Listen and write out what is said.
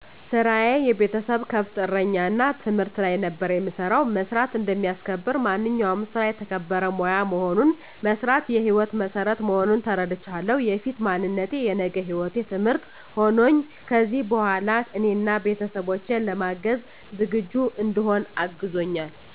ስራየ የቤተሰብ ከብት እረኛ እና ትምህርት ላይ ነበር የምሰራው። መስራት እንደሚያስከብር፣ ማንኛውም ስራ የተከበረ ሙያ መሆኑን፣ መስራት የሕይወት መሠረት መሆኑን ተረድቻለሁ። የፊት ማንነቴ የነገ ህይወቴ ትምህርት ሆኖኝ ከዚሕ በኋላ እኔን አና ቤተሠቦቼን ለማገዝ ዝግጁ እንድሆን አግዞኛል።